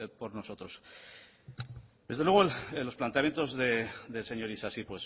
por nosotros desde luego los planteamientos del señor isasi